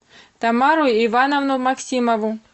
тамару ивановну максимову